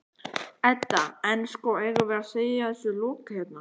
Edda: En, sko, eigum við að segja þessu lokið hérna?